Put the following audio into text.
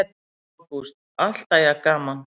Ágúst: Alltaf jafn gaman?